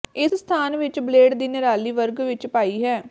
ਇਸ ਸਥਾਨ ਵਿੱਚ ਬਲੇਡ ਦੀ ਨਿਰਾਲੀ ਵਰਗ ਵਿੱਚ ਪਾਈ ਹੈ